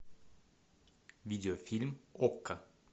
видеофильм окко